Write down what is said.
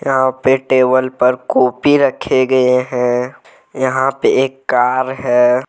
यहां पे टेबल पर कॉपी रखे गए हैं यहां पे एक कार है।